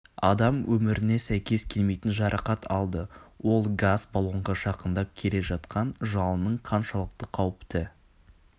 адам өміріне сәйкес келмейтін жарақат алды ол газ балонға жақындап келе жатқан жалынның қаншалықты қауіпті